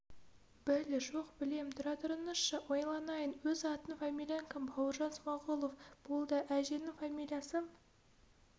біл жоқ білем тұра тұрыңызшы ойланайын өз атың фамилияң кім бауыржан смағұлов болды әжеңнің фамилиясы